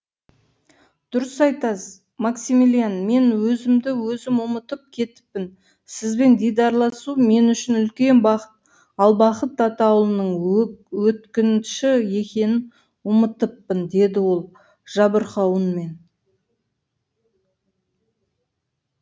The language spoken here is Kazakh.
дұрыс айтасыз максимилиан мен өзімді өзім ұмытып кетіппін сізбен дидарласу мен үшін үлкен бақыт ал бақыт атаулының өткінші екенін ұмытыппын деді ол жабырқау үнмен